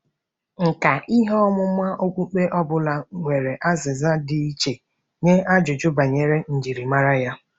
Nkà ihe ọmụma okpukpe ọ bụla nwere azịza dị iche nye ajụjụ banyere njirimara ya.